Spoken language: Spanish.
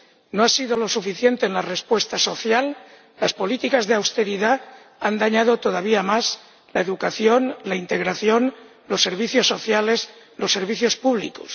No ha sido suficiente en la respuesta social las políticas de austeridad han dañado todavía más la educación, la integración, los servicios sociales, los servicios públicos...